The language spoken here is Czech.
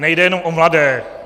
Nejde jenom o mladé.